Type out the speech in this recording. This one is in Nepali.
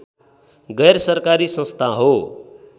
गैरसरकारी संस्था हो